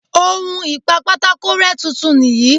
On ìpa pátákó rẹ́ tuntun nìyí.